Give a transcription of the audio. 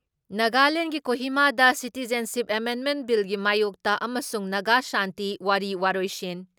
ꯅꯥꯒꯥꯂꯦꯟꯒꯤ ꯀꯣꯍꯤꯃꯥꯗ ꯁꯤꯇꯤꯖꯟꯁꯤꯞ ꯑꯦꯃꯦꯟꯃꯦꯟ ꯕꯤꯜꯒꯤ ꯃꯥꯌꯣꯛꯇ ꯑꯃꯁꯨꯡ ꯅꯒꯥ ꯁꯥꯟꯇꯤ ꯋꯥꯔꯤ ꯋꯥꯔꯣꯏꯁꯤꯟ